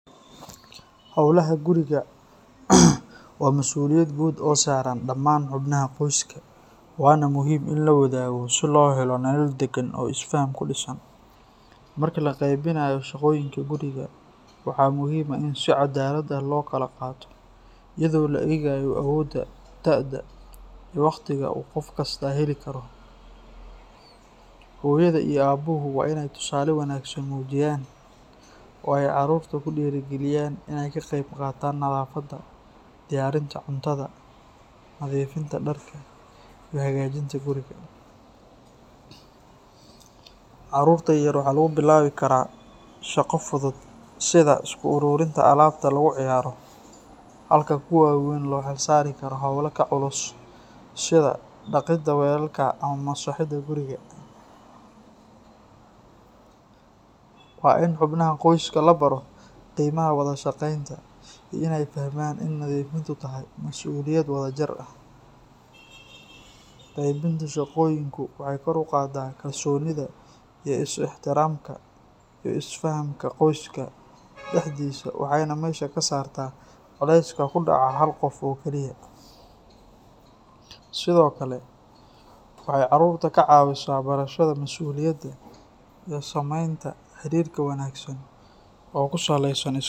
Howlaha guriga waa masuuliyad guud oo saaran dhammaan xubnaha qoyska, waana muhiim in la wadaago si loo helo nolol deggan oo is faham ku dhisan. Marka la qeybinayo shaqooyinka guriga, waxaa muhiim ah in si caddaalad ah loo kala qaato iyadoo la eegayo awoodda, da'da, iyo waqtiga uu qof kasta heli karo. Hooyada iyo aabbuhu waa in ay tusaale wanaagsan muujiyaan oo ay carruurta ku dhiirrigeliyaan in ay ka qayb qaataan nadaafadda, diyaarinta cuntada, nadiifinta dharka, iyo hagaajinta guriga. Carruurta yaryar waxaa lagu bilaabi karaa shaqo fudud sida isku uruurinta alaabta lagu ciyaaro, halka kuwa waaweyna loo xilsaari karo hawlo ka culus sida dhaqidda weelka ama masaxidda guriga. Waa in xubnaha qoyska la baro qiimaha wada shaqaynta iyo in ay fahmaan in nadiifnimadu tahay mas'uuliyad wada jir ah. Qeybinta shaqooyinku waxay kor u qaadaa kalsoonida, is ixtiraamka iyo is fahamka qoyska dhexdiisa, waxayna meesha ka saartaa culayska ku dhaca hal qof oo kaliya. Sidoo kale, waxay carruurta ka caawisaa barashada mas'uuliyadda iyo samaynta xiriir wanaagsan oo ku saleysan.